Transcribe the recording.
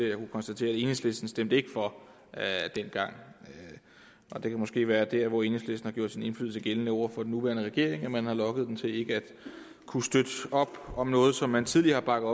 jeg kan konstatere at enhedslistens stemte ikke for dengang det kan måske være der hvor enhedslisten har gjort sin indflydelse gældende over for den nuværende regering at man har lokket dem til ikke at kunne støtte op om noget som man tidligere har bakket